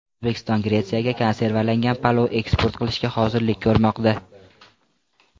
O‘zbekiston Gretsiyaga konservalangan palov eksport qilishga hozirlik ko‘rmoqda.